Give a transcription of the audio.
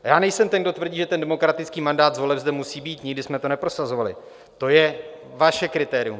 Já nejsem ten, kdo tvrdí, že ten demokratický mandát z voleb zde musí být, nikdy jsme to neprosazovali, to je vaše kritérium.